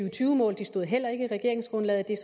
og tyve mål de stod heller ikke i regeringsgrundlaget det er